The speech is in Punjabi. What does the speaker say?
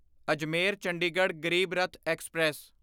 ਅਜਮੇਰ ਚੰਡੀਗੜ੍ਹ ਗਰੀਬ ਰੱਥ ਐਕਸਪ੍ਰੈਸ